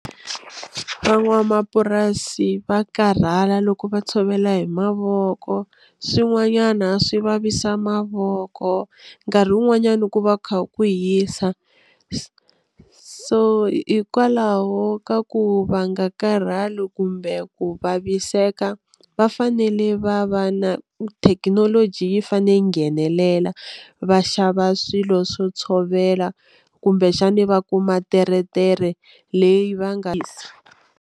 Van'wamapurasi va karhala loko va tshovela hi mavoko swin'wanyana swi vavisa mavoko nkarhi wun'wanyana ku va ku kha ku hisa so hikwalaho ka ku va nga karhali kumbe ku vaviseka va fanele va va na thekinoloji yi fane yi nghenelela va xava swilo swo tshovela kumbexani va kuma teretere leyi va nga si.